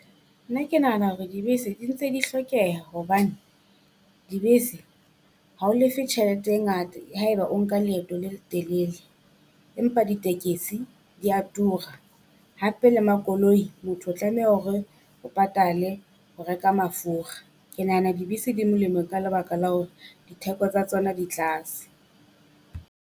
Nna ke nahana hore dibese di ntse di hlokeha hobane, dibese ha o lefe tjhelete e ngata haeba o nka leeto le letelele. Empa ditekesi dia tura, hape le makoloi motho o tlameha hore o patale ho reka mafura. Ke nahana dibese di molemo ka lebaka la hore ditheko tsa tsona di tlase.